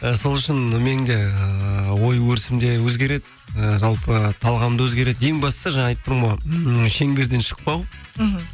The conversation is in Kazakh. ы сол үшін менің де ыыы ой өрісім де өзгереді ы жалпы талғам да өзгереді ең бастысы жаңа айттым ғой м шеңберден шықпау мхм